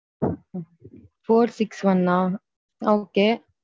Four six one நா okay.